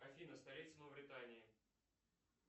афина столица мавритании